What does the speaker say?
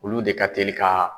Olu de ka telin ka